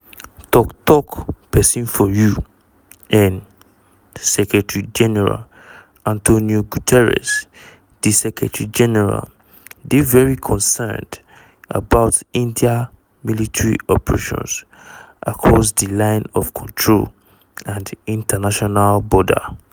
tok tok pesin for u.n. secretary-general antonio guterres "di secretary-general dey very concerned about india military operations across di line of control and international border.